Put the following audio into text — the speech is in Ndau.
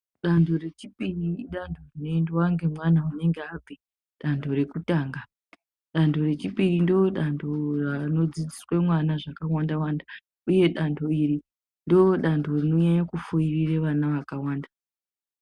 Danto rechipiri idanto rinoendwa ngemwana unenge abva danto rekutanga danto rechipiri ndodanto rinodzidziswe vana zvakawanda wanda uye danto iri ndorinonyanye kufoirire vana vakawanda.